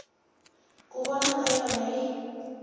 ku vona ka yona yi